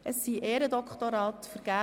Es wurden Ehrendoktorate vergeben.